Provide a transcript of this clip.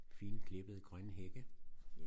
Fine klippede grønne hække